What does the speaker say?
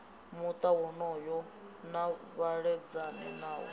muta wonoyo na vhaledzani nawo